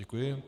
Děkuji.